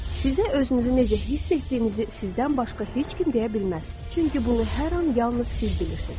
Sizə özünüzü necə hiss etdiyinizi sizdən başqa heç kim deyə bilməz, çünki bunu hər an yalnız siz bilirsiz.